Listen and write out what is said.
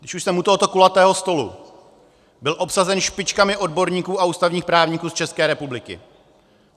Když už jsem u tohoto kulatého stolu, byl obsazen špičkami odborníků a ústavních právníků z České republiky.